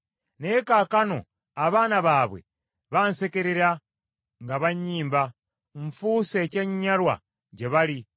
Naye kaakano abaana baabwe bansekerera nga bannyimba; nfuuse ekyenyinyalwa gye bali,